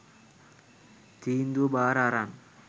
තීන්දුව බාර අරන්